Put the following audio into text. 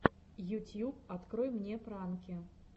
ютьюб открой мне пранки